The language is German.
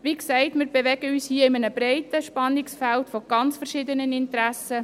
Wie gesagt, bewegen wir uns hier in einem breiten Spannungsfeld unterschiedlicher Interessen.